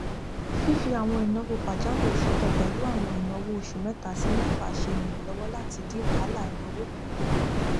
fí fí àwọn ináwó pajawiri sọtọ pẹlú àwọn ináwó oṣù mẹta sí mẹfà ṣe iranlọwọ láti dín wahalà ináwó ku